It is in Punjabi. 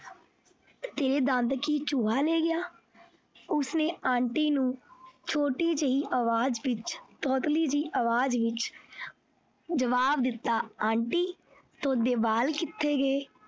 ਤੇਰੇ ਦੰਦ ਕੀ ਚੂਹਾ ਲੈ ਗਿਆ ਉਸਨੇ aunty ਨੂੰ ਛੋਟੀ ਜਿਹੀ ਅਵਾਜ ਵਿੱਚ ਤੋਤਲੀ ਜਿਹੀ ਅਵਾਜ ਵਿੱਚ ਜਵਾਬ ਦਿੱਤਾ aunty ਤੁਹਾਡੇ ਵੱਲ ਕਿੱਥੇ ਗਏ।